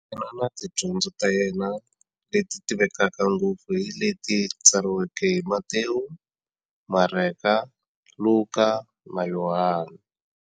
Yena na tidyondzo ta yena, leti tivekaka ngopfu hi leti tsariweke hi-Matewu, Mareka, Luka, na Yohani.